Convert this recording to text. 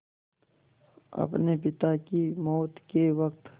अपने पिता की मौत के वक़्त